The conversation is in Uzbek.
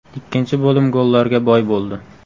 Ikkinchi bo‘lim gollarga boy bo‘ldi.